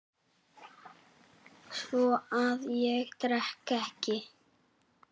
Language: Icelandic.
Svo að ég drekk ekki.